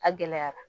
A gɛlɛyara